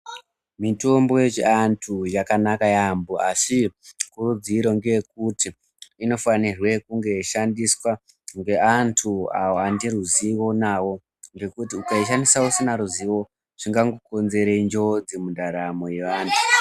Mitombo yechiantu yakanaka yaambo asi kutudziro ngeyekuti inofana kunge yeishandiswa ngeantu awo ane ruzivo nawo ngekuti ukaishandisa usina ruzivo zvinokonzere njodzi mundaramo yevanhu.